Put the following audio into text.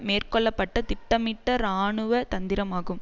மேற்கொள்ள பட்ட திட்டமிட்ட இராணுவ தந்திரமாகும்